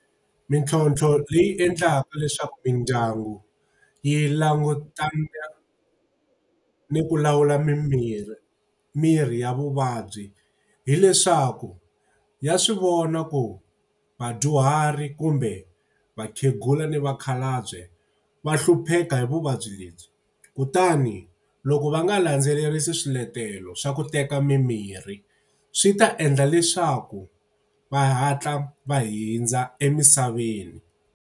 Mintlhontlho leyi endlaka leswaku mindyangu yi langutana ni ku lawula mimirhi mirhi ya vuvabyi hileswaku ya swi vona ku vadyuhari kumbe vakhegula ni vakhalabye, va hlupheka hi vuvabyi lebyi. Kutani loko va nga landzelerisi swiletelo swa ku teka mimirhi swi ta endla leswaku va hatla va hundza emisaveni.